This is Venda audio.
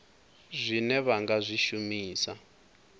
zwine vha nga zwi shumisa